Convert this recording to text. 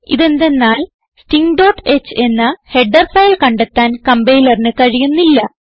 ഇതെന്തന്നാൽ stingഹ് എന്ന header file കണ്ടെത്താൻ കംപൈലറിന് കഴിയുന്നില്ല